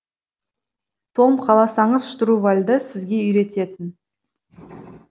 том қаласаңыз штурвалды сізге үйрететін